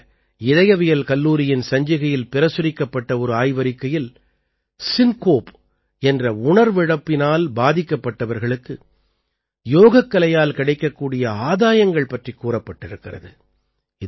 அமெரிக்க இதயவியல் கல்லூரியின் சஞ்சிகையில் பிரசுரிக்கப்பட்ட ஒரு ஆய்வறிக்கையில் சின்கோப் என்ற உணர்விழப்பினால் பாதிக்கப்பட்டவர்களுக்கு யோகக்கலையால் கிடைக்கக்கூடிய ஆதாயங்கள் பற்றிக் கூறப்பட்டிருக்கிறது